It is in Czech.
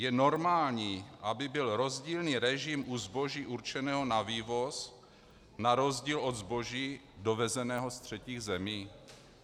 Je normální, aby byl rozdílný režim u zboží určeného na vývoz na rozdíl od zboží dovezeného z třetích zemí?